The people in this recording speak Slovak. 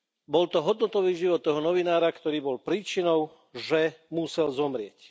Bol to hodnotový život toho novinára, ktorý bol príčinou, že musel zomrieť.